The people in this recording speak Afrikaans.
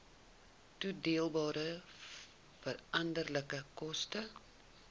toedeelbare veranderlike koste